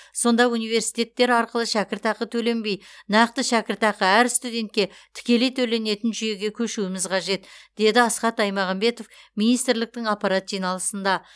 сонда университеттер арқылы шәкіртақы төленбей нақты шәкіртақы әр студентке тікелей төленетін жүйеге көшуіміз қажет деді асхат аймағамбетов министрліктің аппарат жиналысында